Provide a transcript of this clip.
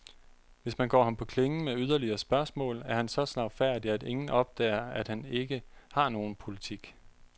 Hvis man går ham på klingen med yderligere spørgsmål, er han så slagfærdig, at ingen opdager, at han ikke har nogen politik.